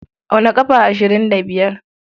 Auna ƙafa ashirin da biyar.